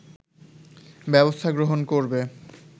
ব্যবস্থা গ্রহণ করবে